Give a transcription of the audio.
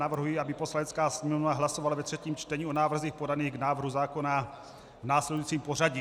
Navrhuji, aby Poslanecká sněmovna hlasovala ve třetím čtení o návrzích podaných k návrhu zákona v následujícím pořadí.